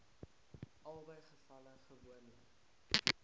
albei gevalle gewoonlik